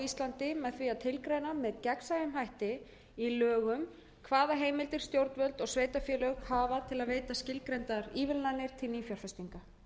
íslandi með því að tilgreina með gegnsæjum hætti í lögum hvaða heimildir stjórnvöld og sveitarfélög hafa til að veita skilgreindar ívilnanir til nýfjárfestinga